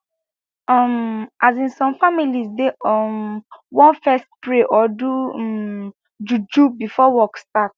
um asin some families dey um want fess pray or do um juju before work start